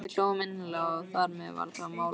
Við hlógum innilega og þar með var það mál afgreitt.